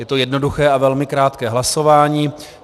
Je to jednoduché a velmi krátké hlasování.